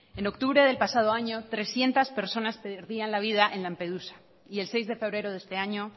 en octubre del pasado año trescientos personas perdían la vida en lampedusa y el seis de febrero de este año